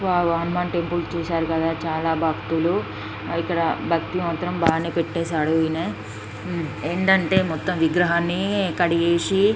wow Hanuman temple చూసారు కదా చాలా భక్తులు ఇక్కడ బయట మాత్రం బానే పెట్టేసాడు ఇయానా ఏంటంటే మొత్తం విగ్రహాన్ని కడిగేసి --